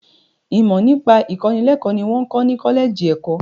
Ìmọ nípa ìkọ́nilẹ́kọ̀ ni wọn ń kọ́ ni kọ́lẹ́ẹ́jì ẹ̀kọ́.